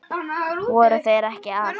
Voru þeir ekki að?